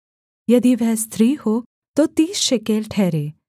यदि वह स्त्री हो तो तीस शेकेल ठहरे